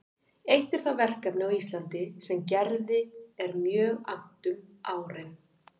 Eitt er það verkefni á Íslandi sem Gerði er mjög annt um árin